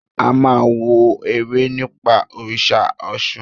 A máa wo eré nípa òrìṣà Ọ̀ṣun.